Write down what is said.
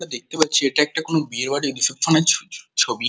আমরা দেখতে পাচ্ছি এটা একটা কোনো বিয়েবাড়ির রিসেপশন এর ছ ছ ছবি।